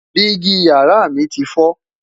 Digi yàrá mí ti foo